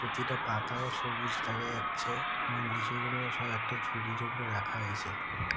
প্রতিটি পাতাও সবুজ দেখা যাচ্ছে এবং লিচুগুলো সব একটা ঝুড়ির উপর রাখা হয়েছে ।